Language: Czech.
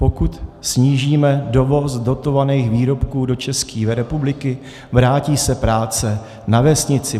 Pokud snížíme dovoz dotovaných výrobků do České republiky, vrátí se práce na vesnici.